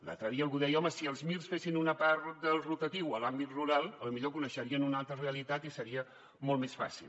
l’altre dia algú deia home si els mirs fessin una part del rotatiu a l’àmbit rural potser coneixerien una altra realitat i seria molt més fàcil